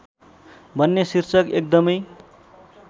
भन्ने शीर्षक एकदमै